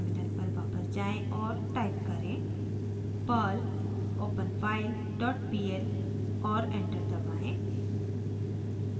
terminal पर वापस जाएँ और टाइप करें perl openfile dot pl और एंटर दबाएं